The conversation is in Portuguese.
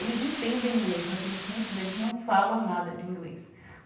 Eles entendem inglês, mas tem gente, que muitos deles não falam nada de inglês.